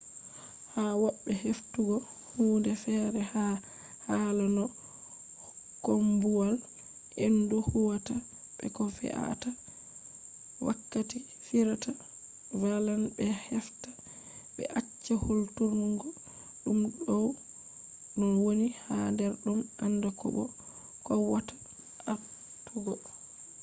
ha wobbe heftugo hunde fere ha hala no koombuwal-hendu huwata be ko fe a ta wakkati firita vallan be hefta be acca hulturgo dum dow no woni ha der dum anda ko bo kowwata atugo